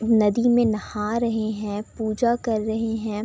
नदी में नहा रहे है पूजा कर रहे है।